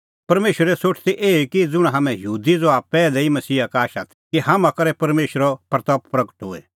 परमेशरे सोठ ती एही कि ज़ुंण हाम्हैं यहूदी ज़हा पैहलै ई मसीहा का आशा ती कि हाम्हां करै परमेशरे महिमां होए